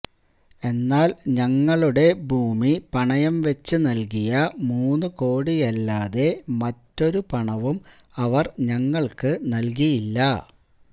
എന്നാൽ ഞങ്ങളുടെ ഭൂമി പണയം വെച്ച് നൽകിയ മൂന്ന് കോടിയല്ലാതെ മറ്റൊരു പണവും അവർ ഞങ്ങൾക്ക് നൽകിയില്ല